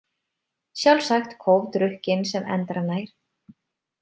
Sjálfsagt kófdrukkinn sem endranær.